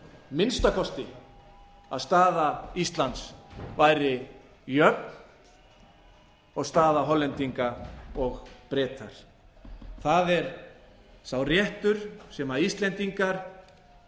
minnsta kosti að staða íslands væri jöfn og staða hollendinga og breta það er sá réttur sem íslendingar